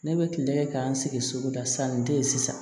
Ne bɛ kile kɛ k'an sigi suguda san nin te yen sisan